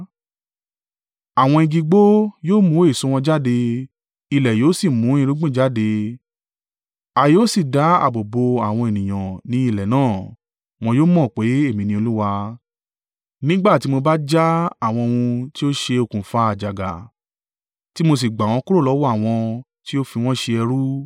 Àwọn igi igbó yóò mú èso wọn jáde, ilẹ̀ yóò sì mu irúgbìn jáde; A yóò sì dá ààbò bo àwọn ènìyàn ní ilẹ̀ náà. Wọn yóò mọ̀ pé èmi ni Olúwa, nígbà tí mo bá já àwọn ohun tí ó ṣe okùnfà àjàgà, tí mo sì gbà wọ́n kúrò lọ́wọ́ àwọn tí ó fi wọ́n ṣe ẹrú.